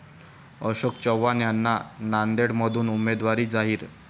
अशोक चव्हाण यांना नांदेडमधून उमेदवारी जाहीर